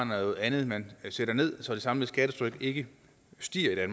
noget andet man sætter ned så det samlede skattetryk ikke stiger i